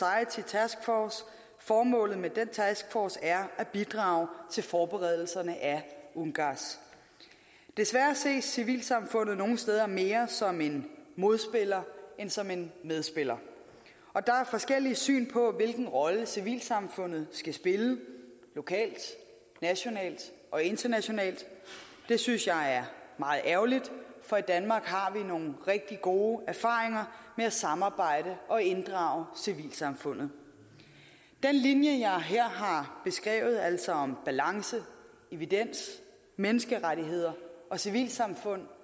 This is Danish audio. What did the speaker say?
force formålet med den taskforce er at bidrage til forberedelserne af ungass desværre ses civilsamfundet nogle steder mere som en modspiller end som en medspiller der er forskellige syn på hvilken rolle civilsamfundet skal spille lokalt nationalt og internationalt det synes jeg er meget ærgerligt for i danmark har vi nogle rigtig gode erfaringer med at samarbejde og inddrage civilsamfundet den linje jeg her har beskrevet altså om balance evidens menneskerettigheder og civilsamfund